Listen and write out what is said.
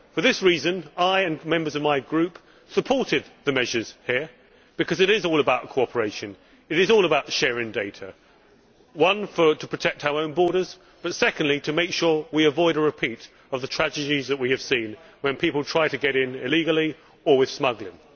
For this reason, I and members of my Group supported the measures here because it is all about cooperation, it is all about sharing data, firstly to protect our own borders but secondly to make sure we avoid a repeat of the tragedies that we have seen when people try to get in illegally or with smuggling.